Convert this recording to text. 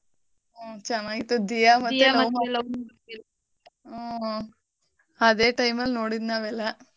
ಹ್ಮ್ ಚೆನ್ನಾಗಿತ್ತು ದಿಯ ಮತ್ತೆ . ಹ್ಮ್. ಅದೇ time ಅಲ್ ನೋಡಿದ್ ನಾವೆಲ್ಲ.